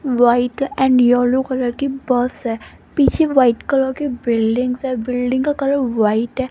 White and yellow colour की bus है पीछे वाइट कलर के बिल्डिंग्स है बिल्डिंग का कलर व्हाइट है।